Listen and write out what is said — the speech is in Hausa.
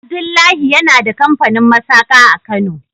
Abdullahi yana da kamfanin masaka a kano.